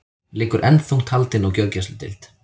Liggur enn þungt haldin á gjörgæsludeild